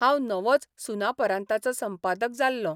हांव नवोँच सुनापरान्ताचों संपादक जाल्लों.